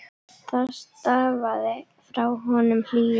Það stafaði frá honum hlýju.